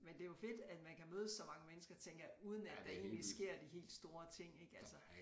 Men det jo fedt at man kan mødes så mange mennesker tænker jeg uden at der egentlig sker de helt store ting ik altså